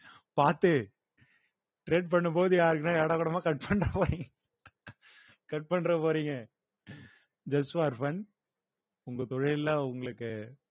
பார்த்து trade பண்ணும்போது யாருக்குன்னா ஏடாகூடமா cut பண்ணிட்டு போயி cut பண்ணிட போறீங்க just for fun உங்க தொழில்ல உங்களுக்கு